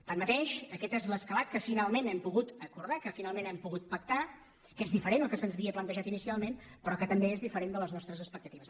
tanmateix aquest és l’escalat que finalment hem pogut acordar que finalment hem pogut acordar que és diferent del que se’ns havia plantejat inicialment però que també és diferent de les nostres expectatives